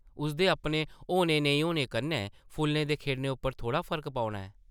उसदे अपने होने, नेईं होने कन्नै फुल्लें दे खिड़ने उप्पर थोह्ड़ा फर्क पौना ऐ ।